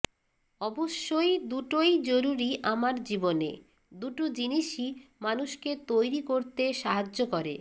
অবশ্যই দুটোই জরুরি আমার জীবনে দুটো জিনিসই মানুষকে তৈরি করতে সাহায্য করে